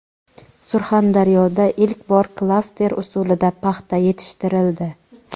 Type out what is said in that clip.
Surxondaryoda ilk bor klaster usulida paxta yetishtirildi.